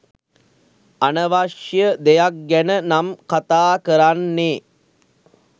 අනවශ්‍ය දෙයක් ගැන නම් කතා කරන්නේ